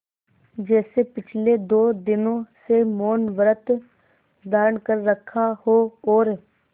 जैसे पिछले दो दिनों से मौनव्रत धारण कर रखा हो और